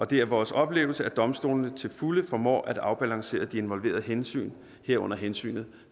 det er vores oplevelse at domstolene til fulde formår at afbalancere de involverede hensyn herunder hensynet